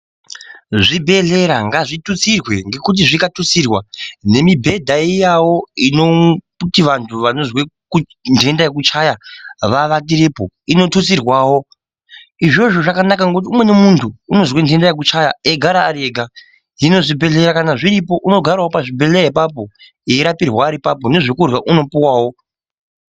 Zvibhedhlera ngazvitutsirwe ngekuti zvikatutsira nemibhedha iyavo inoti kuti vantu vanonzwe nhenda yekuchaya vavatirepo inotutsirwavo. Izvozvo zvakanaka nokuti umweni muntu unozwe nhenda yekuchaya eigara ari ega. Hino kana zvibhedhlera kana zviripo unogaravo pazvibhedhlera ipapo eirapirwa ari ipapo nezvekurya unopuwawo.